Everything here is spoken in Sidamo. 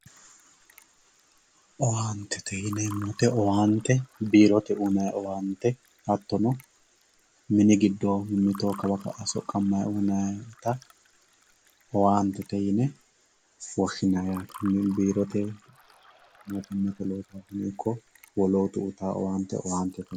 Owaantete yineemmo woyte biirote uyinanni owaante hattono minu giddo mittoho kawa ka"a soqamanitta owaantete yine woshshinanni biirote ikko wolootu uyittano owaante